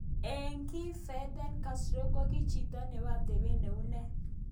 Ak ngii Fedel Castron kokijito nebo atebet neunee.